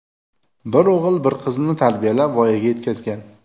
Bir o‘g‘il, bir qizni tarbiyalab, voyaga yetkazgan.